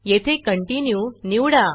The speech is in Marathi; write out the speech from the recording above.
येथे Continueकंटिन्यू निवडा